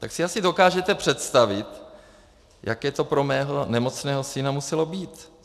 Tak si asi dokážete představit, jaké to pro mého nemocného syna muselo být.